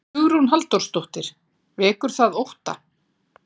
Hugrún Halldórsdóttir: Vekur það ótta?